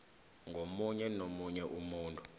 ngomunye nomunye umuntu